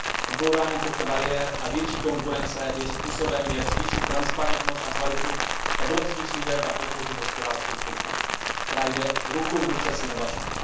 Odbourání těchto bariér a větší konkurence je způsobem, jak zvýšit transparentnost a kvalitu evropských služeb a podpořit hospodářskou soutěž, která jde ruku v ruce s inovacemi.